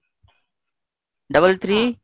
double three